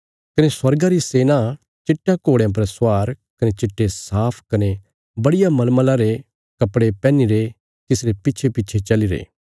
कने स्वर्गा री सेना चिट्टयां घोड़यां पर स्वार कने चिट्टे साफ कने बड़िया मलमला रे कपड़े पैहनीरे तिसरे पिच्छेपिच्छे चलीरे